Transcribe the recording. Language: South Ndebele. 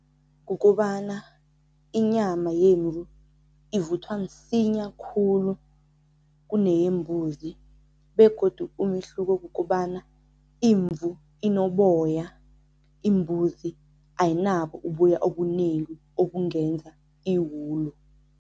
Kukobana inyama yemvu ivuthwa msinya khulu kuneyembuzi begodu umehluko kukobana imvu inoboya, imbuzi ayinabo uboya obunengi obungenza iwulu.